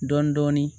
Dɔɔnin dɔɔnin